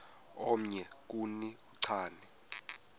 omnye kuni uchane